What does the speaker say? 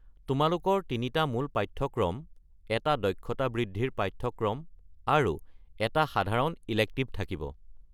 তোমালোকৰ তিনিটা মূল পাঠ্যক্ৰম, এটা দক্ষতা বৃদ্ধিৰ পাঠ্যক্ৰম আৰু এটা সাধাৰণ ইলেক্টিভ থাকিব।